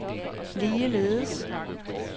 ligeledes